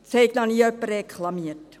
Es hat noch nie jemand reklamiert.»